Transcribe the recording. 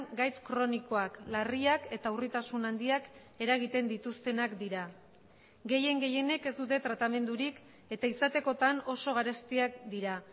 gaitz kronikoak larriak eta urritasun handiak eragiten dituztenak dira gehien gehienek ez dute tratamendurik eta izatekotan oso garestiak dira